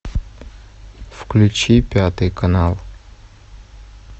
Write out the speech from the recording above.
включи пятый канал